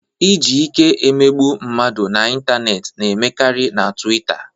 Iji ike emegbu mmadụ n'ịntanetị na-eme karịa na Twita